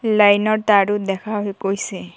লাইনৰ তাৰো দেখা গৈছে।